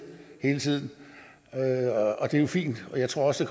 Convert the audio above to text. hele tiden det er jo fint og jeg tror også